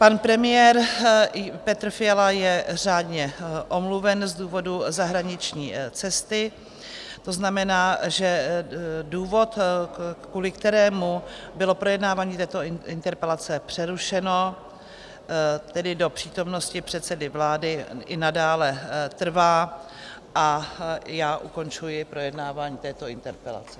Pan premiér Petr Fiala je řádně omluven z důvodu zahraniční cesty, to znamená, že důvod, kvůli kterému bylo projednávání této interpelace přerušeno, tedy do přítomnosti předsedy vlády, i nadále trvá, a já ukončuji projednávání této interpelace.